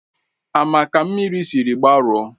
Ama ka mmiri sịrị gbarụo